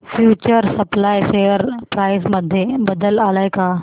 future supply share price मध्ये बदल आलाय का